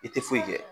I tɛ foyi kɛ